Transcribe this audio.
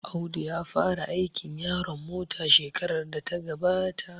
Audu ya fara aikin yaron mota shekarar da ta gabata